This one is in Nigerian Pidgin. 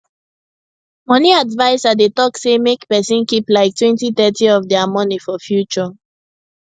money adviser dey talk say make person keep like 2030 of their money for future